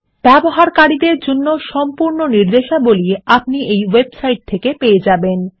ব্যবহারকারীদের জন্য সম্পূর্ণ নির্দেশাবলী আপনি এই ওয়েবসাইট থেকে পেয়ে যাবেন